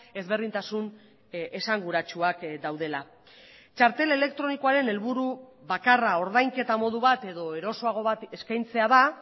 ezberdintasun esanguratsuak daudela txartel elektronikoaren helburu bakarra ordainketa modu bat edo erosoago bat eskaintzea da